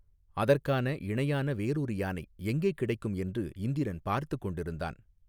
அதற்கான இணையான வேறொரு யானை எங்கே கிடைக்கும் என்று இந்திரன் பார்த்துக் கொண்டிருந்தான்.